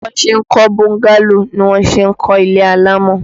Bí wọn ṣe ń kọ́ bọ́ńgálò ni wọ́n ṣe ń kọ́ ilé alámọ̀.